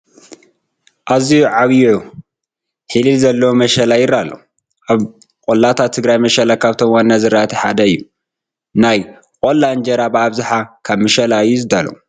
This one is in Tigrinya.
ኣዝዩ ዓብዪ ሒለል ዘለዎ መሸላ ይርአ ኣሎ፡፡ ኣብ ቆላታት ትግራይ መሸላ ካብቶም ዋና ዝራእቲ ሓደ እዩ፡፡ ናይ ቆላ እንጀራ ብኣብዝሓ ካብ መሸላ እዩ ዝዳሎ፡፡